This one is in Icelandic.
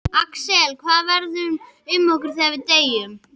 Axel: Hvað verður um okkur þegar við deyjum?